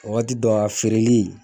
Wagati dɔw a feereli